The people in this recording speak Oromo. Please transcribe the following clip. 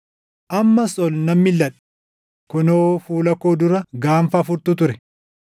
Ammas ol nan milʼadhe; kunoo, fuula koo dura gaanfa afurtu ture!